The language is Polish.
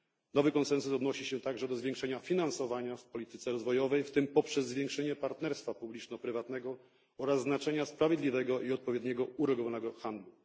Nowy konsensus odnosi się także do zwiększenia finansowania w polityce rozwojowej, w tym poprzez zwiększenie partnerstwa publiczno prywatnego, oraz znaczenia sprawiedliwego i odpowiednio uregulowanego handlu.